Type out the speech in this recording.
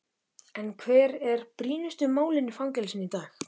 En hver eru brýnustu málin í fangelsum í dag?